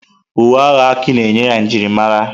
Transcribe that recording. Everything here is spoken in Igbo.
Uwe agha Aki na-enye ya njirimara.